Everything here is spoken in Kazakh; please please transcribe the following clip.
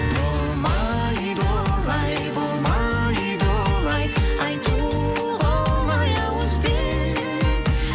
болмайды олай болмайды олай айтуға оңай ауызбен